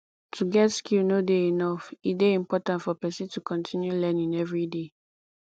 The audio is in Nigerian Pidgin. to get skill no de enough e de important for persin to continue learning everyday